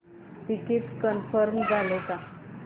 ticket confirm झाले का